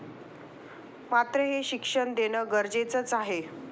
मात्र हे शिक्षण देणं गरजेचंच आहे.